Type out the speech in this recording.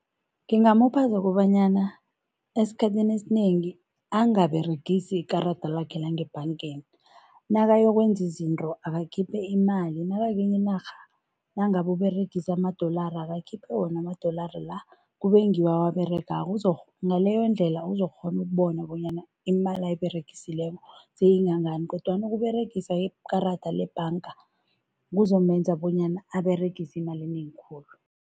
Ngingamupha zokobanyana esikhathini esinengi angaberegisi ikarada lakhe langebhangeni. Nakayokwenza izinto akakhiphe imali, nakakwenye inarha, nangabe uberegise amadolora, akakhiphe wona amadolara la, kube ngiwo awaberegako, ngaleyondlela uzokukghona ukubona bonyana imali ayiberegisileko seyingangani kodwana ukuberegisa ikarada lebhanga kuzomenza bonyana aberegise imali enengi khulu.